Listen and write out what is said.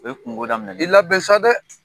O ye kunko daminɛ i labɛn sa dɛ!